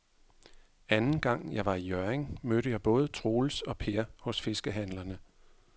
Anden gang jeg var i Hjørring, mødte jeg både Troels og Per hos fiskehandlerne.